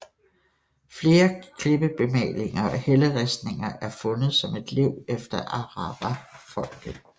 Flere klippebemalinger og helleristninger er fundet som lev efter arawakfolket